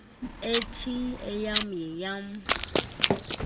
uthi eyam yeyam